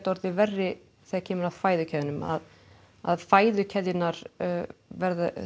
orðið verri þegar kemur að fæðukeðjunum að fæðukeðjunum verði